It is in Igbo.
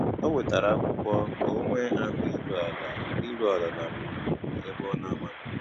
Ó wètárá ákwụ́kwọ́ kà ọ́ nwée áhụ̀ írú àlà írú àlà nà gbúrúgbúrú ébé ọ́ nà-àmághị́.